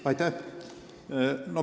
Aitäh!